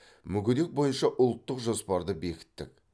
мүгедек бойынша ұлттық жоспарды бекіттік